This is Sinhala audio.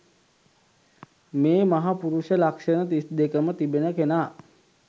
මේ මහපුරුෂ ලක්ෂණ තිස්දෙකම තිබෙන කෙනා